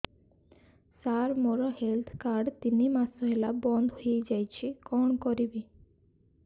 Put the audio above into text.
ସାର ମୋର health card ତିନି ମାସ ହେଲା ବନ୍ଦ ହେଇଯାଇଛି କଣ କରିବି